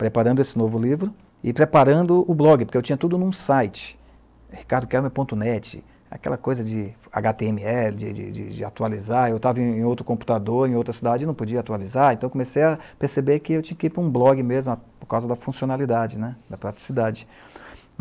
preparando esse novo livro, e preparando o blog, porque eu tinha tudo num site, ricardoquermer.net, aquela coisa de agá tê eme ele, de, de, de atualizar, eu estava em outro computador, em outra cidade, e não podia atualizar, então comecei a perceber que eu tinha que ir para um blog mesmo, por causa da funcionalidade, da praticidade.